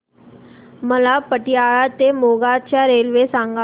मला पतियाळा ते मोगा च्या रेल्वे सांगा